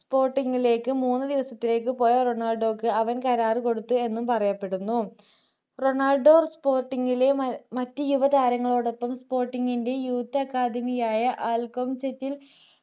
spotting ലേക്ക് മൂന്നു ദിവസത്തിലേക്ക് പോയ റൊണാൾഡോക്ക് അവൻ കരാർ കൊടുത്തു എന്നും പറയപ്പെടുന്നു റൊണാൾഡോ spotting ലെ മറ്റ് യുവതാരങ്ങളോടൊപ്പം spotting ന്റെ youth accademy ആയ alchemist ൽ